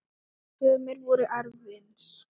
Sumir voru efins.